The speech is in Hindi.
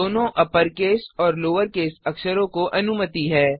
दोनों अपरकेस और लोवरकेस अक्षरों को अनुमति है